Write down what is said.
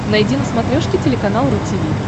найди на смотрешке телеканал ру ти ви